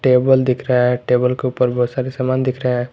Table दिख रहा है टेबल के ऊपर बहुत सारे समान दिख रहा है।